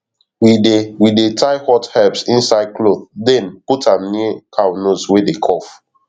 we dey we dey tie hot herbs inside cloth then put am near cow nose wey dey cough